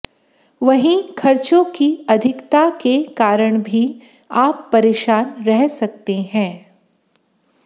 वहीं खर्चों की अधिकता के कारण भी आप परेशान रह सकते हैं